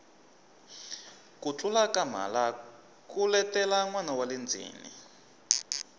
ku tlula ka mhala ku letela nwana wale ndzeni